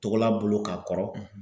Togola bolo ka kɔrɔ